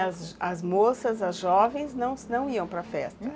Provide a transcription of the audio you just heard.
E as as moças, as jovens, não iam para festa?